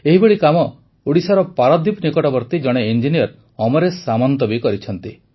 ଏହିଭଳି କାମ ଓଡ଼ିଶାର ପାରାଦ୍ୱୀପ ନିକଟବର୍ତ୍ତୀ ଜଣେ ଇଞ୍ଜିନିୟର ଅମରେଶ ସାମନ୍ତ ବି କରିଛନ୍ତି